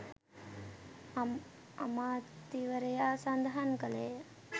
අමාත්‍යවරයා සඳහන් කළේය